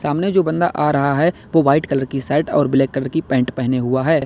सामने जो बंदा आ रहा है वो व्हाइट कलर की शर्ट और ब्लैक कलर की पेंट पेहने हुआ है।